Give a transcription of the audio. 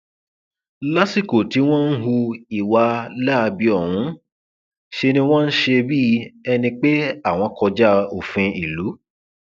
lásìkò tí wọn ń hu ìwà láabi ọhún ṣe ni wọn ń ṣe bíi ẹni pé àwọn kọjá òfin ìlú